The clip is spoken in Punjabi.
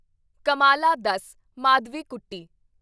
ਕਮਾਲਾ ਦੱਸ ਮਾਧਵੀਕੁੱਟੀ